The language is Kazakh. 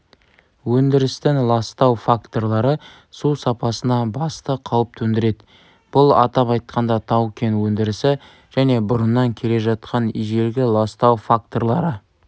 өндірістің ластау факторлары су сапасына басты қауіп төндіреді бұл атап айтқанда тау-кен өндірісі және бұрыннан келе жатқан ежелгі ластау факторлары